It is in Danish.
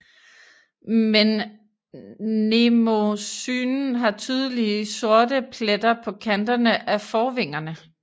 Men mnemosynen har tydelige sorte pletter på kanterne af forvingerne